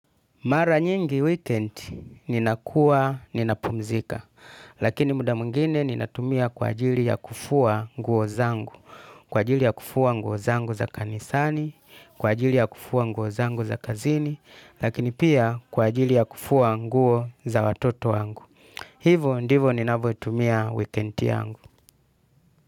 Mara nyingi weekend ninakuwa ninapumzika, lakini muda mwingine ninatumia kwa ajili ya kufua nguo zangu, kwa ajili ya kufua nguo zangu za kanisani, kwa ajili ya kufua nguo zangu za kazini, lakini pia kwa ajili ya kufua nguo za watoto wangu. Hivo ndivo ninavoitumia weekend yangu.